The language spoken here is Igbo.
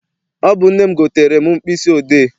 Ọ bụ nne m gotere m mkpịsị odee.